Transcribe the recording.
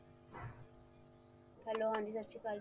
hello ਹਾਂ ਜੀ ਸਤਿ ਸ੍ਰੀ ਅਕਾਲ ਜੀ